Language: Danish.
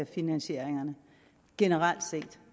finansieringerne generelt set